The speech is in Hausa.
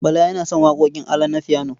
Bala yana son waƙoƙin ALA na fiyano.